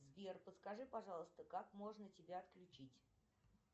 сбер подскажи пожалуйста как можно тебя отключить